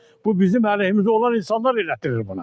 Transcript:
Bu bizim əleyhimizə olan insanlar elətdirir bunu.